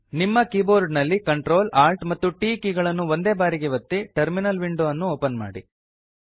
ನಿಮ್ಮ ಕೀಬೋರ್ಡ ನಲ್ಲಿ Ctrl Alt ಮತ್ತು T ಕೀ ಗಳನ್ನು ಒಂದೇ ಬಾರಿಗೆ ಒತ್ತಿ ಟರ್ಮಿನಲ್ ವಿಂಡೊ ಅನ್ನು ಓಪನ್ ಮಾಡಿ